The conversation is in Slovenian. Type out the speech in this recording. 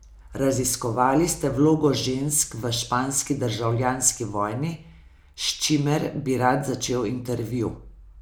Raziskovali ste vlogo žensk v španski državljanski vojni, s čimer bi rad začel intervju.